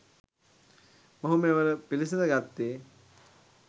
මොහු මෙවර පිළිසිඳගත්තේ